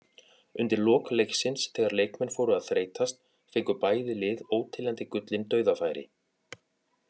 Undir lok leiksins þegar leikmenn fóru að þreytast fengu bæði lið óteljandi gullin dauðafæri.